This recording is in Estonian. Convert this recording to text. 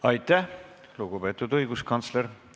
Aitäh, lugupeetud õiguskantsler!